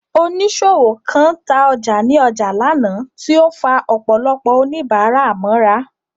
Oníṣòwò kan ta ọjà ní ọjà lánàá, tí ó ń fa ọ̀pọ̀lọpọ̀ oníbàárà mọ́ra.